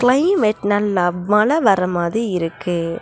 Climate நல்லா மழை வர மாரி இருக்கு.